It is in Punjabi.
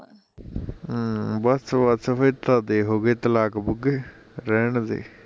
ਅਮ ਬਸ ਬਸ ਫਿਰ ਤਾਂ ਦੇ ਹੋਗੇ ਤਲਾਕ ਬੁਂਗੇ ਰਹਿਣਦੇ